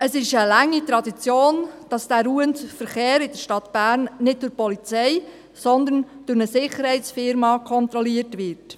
Es ist eine lange Tradition, dass der ruhende Verkehr in der Stadt Bern nicht durch die Polizei, sondern durch eine Sicherheitsfirma kontrolliert wird.